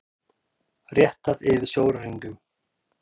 Réttað yfir sjóræningjum